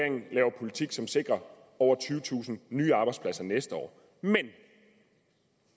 laver politik som sikrer over tyvetusind nye arbejdspladser næste år men